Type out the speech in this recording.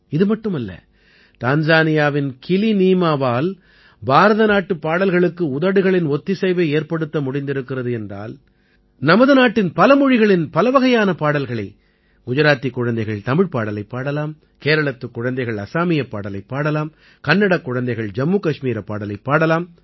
இது மட்டுமல்ல டான்ஸானியாவின் கிலிநீமாவால் பாரத நாட்டுப் பாடல்களுக்கு உதடுகளின் ஒத்திசைவை ஏற்படுத்த முடிந்திருக்கிறது என்றால் நமது நாட்டின் பல மொழிகளின் பலவகையான பாடல்களை குஜராத்திக் குழந்தைகள் தமிழ்ப் பாடலைப் பாடலாம் கேரளத்துக் குழந்தைகள் அஸாமியப் பாடலைப் பாடலாம் கன்னடக் குழந்தைகள் ஜம்மு கஷ்மீரப் பாடலைப் பாடலாம்